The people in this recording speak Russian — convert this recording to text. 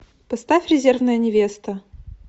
поставь резервная невеста